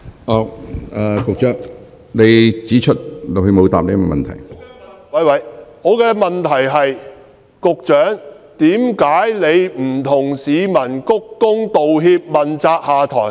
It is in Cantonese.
我的補充質詢是：為何局長不向市民鞠躬道歉，問責下台？